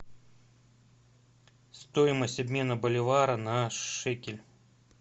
стоимость обмена боливара на шекель